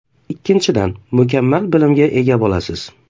Ikkinchidan, mukammal bilimga ega bo‘lasiz.